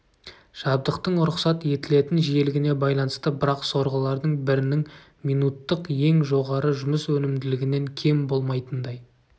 жабдықтың рұқсат етілетін жиілігіне байланысты бірақ сорғылардың бірінің минуттық ең жоғары жұмыс өнімділігінен кем болмайтындай